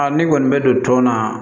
ne kɔni bɛ don tɔn na